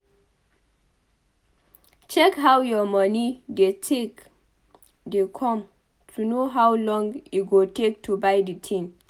Check how your moni take dey come to know how long e go take to buy di thing